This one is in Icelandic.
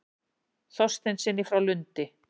Þorsteinssyni frá Lundi.